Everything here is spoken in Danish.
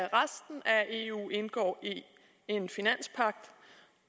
eu indgår en finanspagt